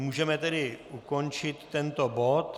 Můžeme tedy ukončit tento bod.